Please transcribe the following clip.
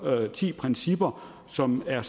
ti principper som er